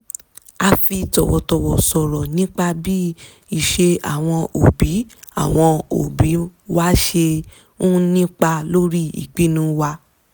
a fi tọ̀wọ̀tọ̀wọ̀ sọ̀rọ̀ nípa bí ìṣe àwọn òbí àwọn òbí wa ṣe ń nípa lórí ìpinnu wa